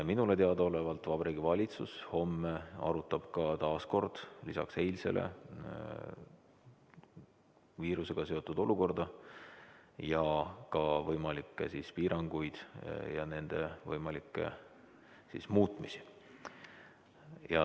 Minule teadaolevalt Vabariigi Valitsus homme arutab taas, lisaks eilsele, viirusega seotud olukorda ja võimalikke piiranguid ja nende võimalikke muutmisi.